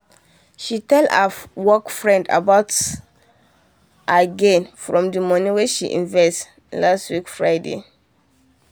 she tell her work friend about her about her gain from the money wen she invest last week friday